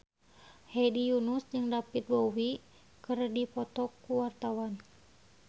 Hedi Yunus jeung David Bowie keur dipoto ku wartawan